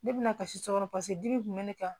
Ne bɛna kasi so kɔnɔ paseke dimi kun bɛ ne kan